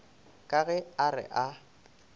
ka ge a re a